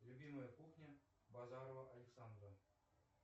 любимая кухня базарова александра